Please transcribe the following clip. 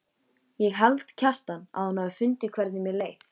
Ég held, Kjartan, að hún hafi fundið hvernig mér leið.